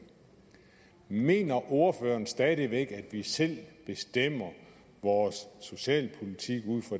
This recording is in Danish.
mener ordføreren stadig væk at vi selv bestemmer vores socialpolitik med